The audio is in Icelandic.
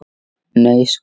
Nei sko!